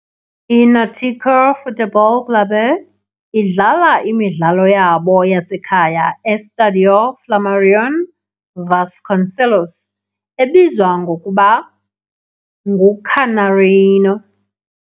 I-Náutico Futebol Clube idlala imidlalo yabo yasekhaya e-Estádio Flamarion Vasconcelos, ebizwa ngokuba "nguCanarinho".